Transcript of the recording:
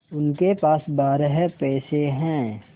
उसके पास बारह पैसे हैं